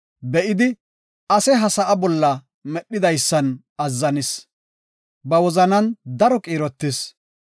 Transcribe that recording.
be7idi, ase ha sa7a bolla medhidaysan azzanis; ba wozanan daro qiirotis.